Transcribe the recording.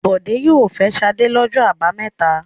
Bọ̀dé yóò fẹ́ Ṣadé lọ́jọ́ àbámẹ́ta.